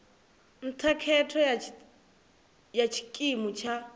nṱha khetho ya tshikimu tsha